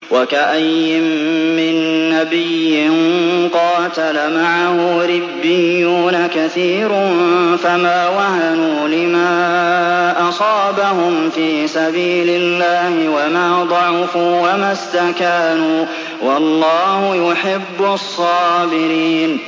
وَكَأَيِّن مِّن نَّبِيٍّ قَاتَلَ مَعَهُ رِبِّيُّونَ كَثِيرٌ فَمَا وَهَنُوا لِمَا أَصَابَهُمْ فِي سَبِيلِ اللَّهِ وَمَا ضَعُفُوا وَمَا اسْتَكَانُوا ۗ وَاللَّهُ يُحِبُّ الصَّابِرِينَ